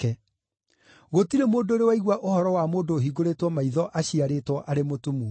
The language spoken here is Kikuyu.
Gũtirĩ mũndũ ũrĩ waigua ũhoro wa mũndũ ũhingũrĩtwo maitho aciarĩtwo arĩ mũtumumu.